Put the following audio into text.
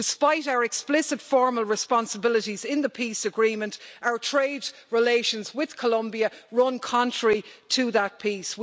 Despite our explicit formal responsibilities in the peace agreement, our trade relations with Colombia run contrary to that peace.